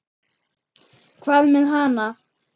Hvað með hana?